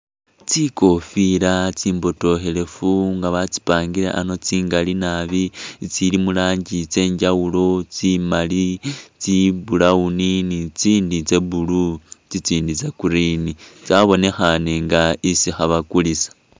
Tsikofila tsimbotokhelefu nga batsipangile ano tsingali nabi tsili muranji tsenjawulo ,tsi’mali tsa’brown ni itsindi tsa blue , tsitsindi tsa green tsabonekhani inga isi khebakulisa .